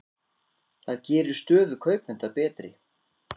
Það gerir stöðu kaupenda betri.